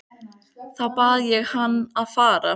Þá bað ég hann að fara.